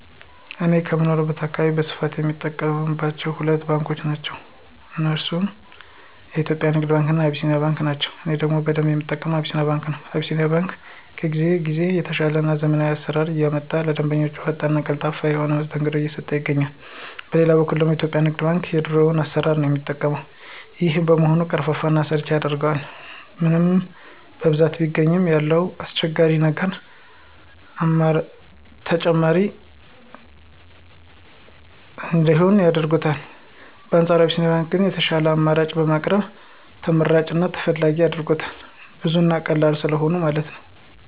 እኔ በምኖርበት አካባቢ በስፋት ሰው የሚጠቀማቸው ሁለት ባንኮችን ነው። እነርሱም የኢትዮጵያ ንግድ ባንክ እና አቢሲኒያ ባንክ ናቸው። እኔ ደግሞ በደንብ የምጠቀመው አቢሲኒያ ባንክ ነው። አቢሲኒያ ባንክ ከጊዜ ጊዜ እየተሻሻለ እና ዘመናዊ አሰራሮችን እያመጣ ለደንበኞቹ ፈጣን እና ቀልጣፋ የሆነ መስተንግዶ እየሰጠ ይገኛል። በሌላ በኩል ደግሞ የኢትዮጵያ ንግድ ባንክ ግን የድሮ አሰራሩን ነው የሚጠቀው። ይሄም በመሆኑ ቀርፋፋ እና አሰልቺ ያደርገዋል። ምንም በብዛት ቢገኝ ያሉት አስቸጋሪ ነገሮች ተመራጭ እንዳይሆን ያደርጉታል። በአንፃሩ አቢሲኒያ ግን የሻሉ አማራጮችን በማቅረብ ተመራጭ እና ተፈላጊ አድርጎታል። ብዙ እና ቀላል ስለሆኑ ነው።